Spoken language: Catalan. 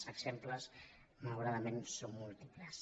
els exemples malauradament són múltiples